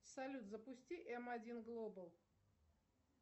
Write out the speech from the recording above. салют запусти м один глобал